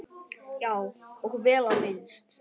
Já, og vel á minnst.